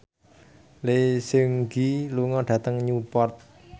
Lee Seung Gi lunga dhateng Newport